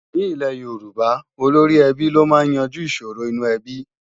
Nílẹ̀ Yorùbá, olóríẹbí ló máa ń yanjú ìṣòro inú ẹbí